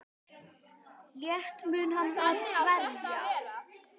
Létt mun hann að sverja.